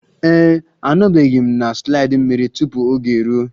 Ee e, anọbeghị m na slide mmiri tupu oge eruo.